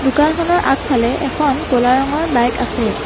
দোকানখনৰ আগফালে এখন ক'লা ৰঙৰ বাইক আছে।